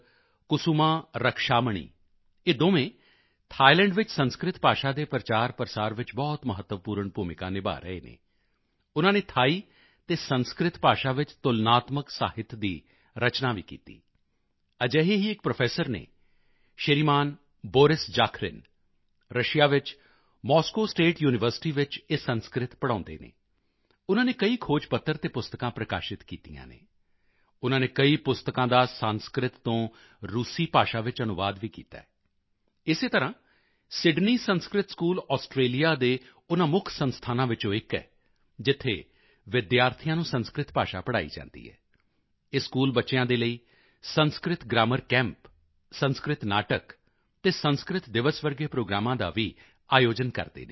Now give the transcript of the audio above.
ਕੁਸੁਮਾ ਰਕਸ਼ਾਮਣੀ ਇਹ ਦੋਵੇਂ ਥਾਈਲੈਂਡ ਵਿੱਚ ਸੰਸਕ੍ਰਿਤ ਭਾਸ਼ਾ ਦੇ ਪ੍ਰਚਾਰਪ੍ਰਸਾਰ ਵਿੱਚ ਬਹੁਤ ਮਹੱਤਵਪੂਰਨ ਭੂਮਿਕਾ ਨਿਭਾ ਰਹੇ ਹਨ ਉਨ੍ਹਾਂ ਨੇ ਥਾਈ ਅਤੇ ਸੰਸਕ੍ਰਿਤ ਭਾਸ਼ਾ ਵਿੱਚ ਤੁਲਨਾਤਮਕ ਸਾਹਿਤ ਦੀ ਰਚਨਾ ਵੀ ਕੀਤੀ ਅਜਿਹੇ ਹੀ ਇੱਕ ਪ੍ਰੋਫੈਸਰ ਹਨ ਸ਼੍ਰੀਮਾਨ ਬੋਰਿਸ ਜਾਖਰਿਨ ਰੁੱਸੀਆ ਵਿੱਚ ਮੋਸਕੋ ਸਟੇਟ ਯੂਨੀਵਰਸਿਟੀ ਚ ਇਹ ਸੰਸਕ੍ਰਿਤ ਪੜ੍ਹਾਉਂਦੇ ਹਨ ਉਨ੍ਹਾਂ ਨੇ ਕਈ ਖੋਜ ਪੱਤਰ ਅਤੇ ਪੁਸਤਕਾਂ ਪ੍ਰਕਾਸ਼ਿਤ ਕੀਤੀਆਂ ਹਨ ਉਨ੍ਹਾਂ ਨੇ ਕਈ ਪੁਸਤਕਾਂ ਦਾ ਸੰਸਕ੍ਰਿਤ ਤੋਂ ਰੂਸੀ ਭਾਸ਼ਾ ਵਿੱਚ ਅਨੁਵਾਦ ਵੀ ਕੀਤਾ ਹੈ ਇਸੇ ਤਰ੍ਹਾਂ ਸਿਡਨੀ ਸੰਸਕ੍ਰਿਤ ਸਕੂਲ ਆਸਟਰੇਲੀਆ ਦੇ ਉਨ੍ਹਾਂ ਮੁੱਖ ਸੰਸਥਾਨਾਂ ਵਿੱਚੋਂ ਇੱਕ ਹੈ ਜਿੱਥੇ ਵਿਦਿਆਰਥੀਆਂ ਨੂੰ ਸੰਸਕ੍ਰਿਤ ਭਾਸ਼ਾ ਪੜ੍ਹਾਈ ਜਾਂਦੀ ਹੈ ਇਹ ਸਕੂਲ ਬੱਚਿਆਂ ਦੇ ਲਈ ਸੰਸਕ੍ਰਿਤ ਗ੍ਰਾਮਰ ਕੈਂਪ ਸੰਸਕ੍ਰਿਤ ਨਾਟਕ ਅਤੇ ਸੰਸਕ੍ਰਿਤ ਦਿਵਸ ਵਰਗੇ ਪ੍ਰੋਗਰਾਮਾਂ ਦਾ ਵੀ ਆਯੋਜਨ ਕਰਦੇ ਹਨ